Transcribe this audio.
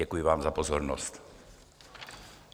Děkuji vám za pozornost.